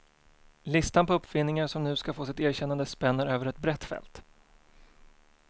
Listan på uppfinningar som nu ska få sitt erkännande spänner över ett brett fält.